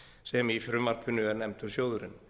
sem í frumvarpinu er nefndur sjóðurinn